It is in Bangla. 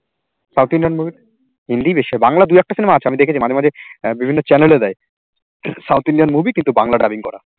south Indian movie হিন্দি বেশি হয় বাংলা দুএকটা cinema আছে, আমি দেখেছি মাঝে মাঝে বিভিন্ন channel এ দেয় south Indian movie কিন্তু বাংলা dubbing করা